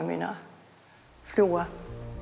mína fljúga